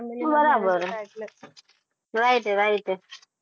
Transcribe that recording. બરાબર હ right હે right હે